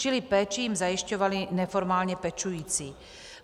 Čili jim péči zajišťovali neformálně pečující.